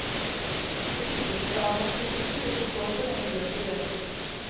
Det ypperste av hans diktning vil bestå så lenge bøker leses.